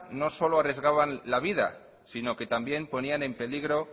no solo arriesgaban la vida sino que también ponían en peligro